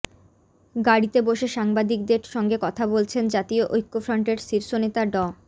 গাড়িতে বসে সাংবাদিকদের সঙ্গে কথা বলছেন জাতীয় ঐক্যফ্রন্টের শীর্ষ নেতা ড